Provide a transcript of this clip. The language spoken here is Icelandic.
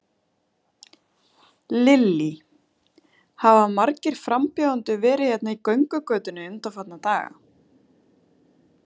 Lillý: Hafa margir frambjóðendur verið hérna í göngugötunni undanfarna daga?